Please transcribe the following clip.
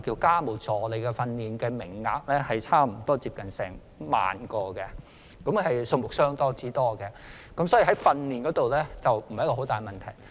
家務助理的訓練名額每年有近萬名，數目相當多，可見在訓練家務助理方面的問題並不大。